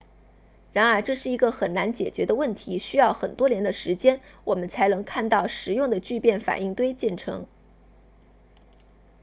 然而这是一个很难解决的问题需要很多年的时间我们才能看到实用的聚变反应堆建成